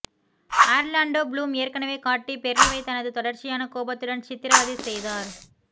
Orlando Bloom ஏற்கனவே Katy பெர்ரிவை தனது தொடர்ச்சியான கோபத்துடன் சித்திரவதை செய்தார்